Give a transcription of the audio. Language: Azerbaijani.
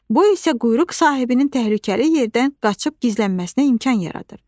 Bu isə quyruq sahibinin təhlükəli yerdən qaçıb gizlənməsinə imkan yaradır.